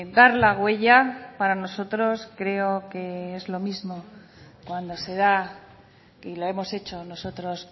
dar la huella para nosotros creo que es lo mismo cuando se da y lo hemos hecho nosotros